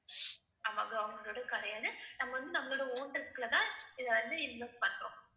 ஆமா government ஓடது கிடையாது, நம்ம வந்து நம்மளோட own risk ல தான் இதை வந்து invest பண்றோம்.